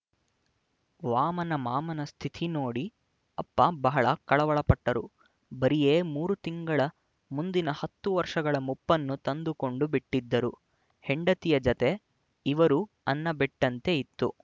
ವಾಮನಮಾಮನ ಸ್ಥಿತಿ ನೋಡಿ ಅಪ್ಪ ಬಹಳ ಕಳವಳಪಟ್ಟರು ಬರಿಯೇ ಮೂರು ತಿಂಗಳ ಮುಂದಿನ ಹತ್ತು ವರ್ಷಗಳ ಮುಪ್ಪನ್ನು ತಂದುಕೊಂಡು ಬಿಟ್ಟಿದ್ದರು ಹೆಂಡತಿಯ ಜತೆ ಇವರೂ ಅನ್ನ ಬಿಟ್ಟಂತೆ ಇತ್ತು